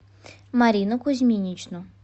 марину кузьминичну